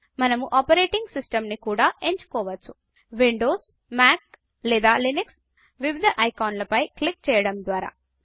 మనము operating system ని కూడా ఎంచుకోవచ్చు విండౌస్ మ్యాక్ లేదా లినక్స్ వివిధ ఐకాన్ ల పై క్లిక్ చేయడం ద్వారా